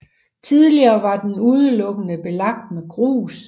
Tidligere var den udelukkende belagt med grus